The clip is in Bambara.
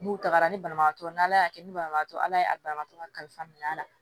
N'u tagara ni banabagatɔ ye n'ala y'a kɛ ni banabagatɔ ye ala ye a banabagatɔ ka kalifa minɛ a la